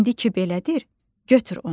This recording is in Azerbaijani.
İndi ki belədir, götür onu.